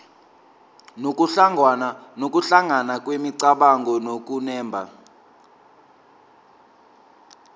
nokuhlangana kwemicabango nokunemba